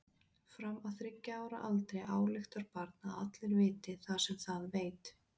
Fram að þriggja ára aldri ályktar barnið að allir viti það sem það veit.